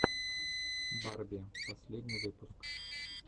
барби первый выпуск